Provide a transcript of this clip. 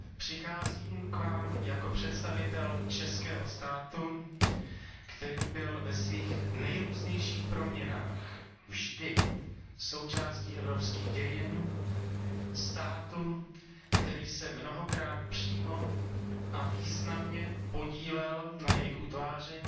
Přicházím k vám jako představitel českého státu, který byl ve svých nejrůznějších proměnách vždy součástí evropských dějin, státu, který se mnohokrát přímo a významně podílel na jejich utváření